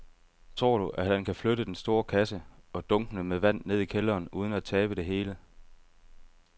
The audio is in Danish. Tror du, at han kan flytte den store kasse og dunkene med vand ned i kælderen uden at tabe det hele?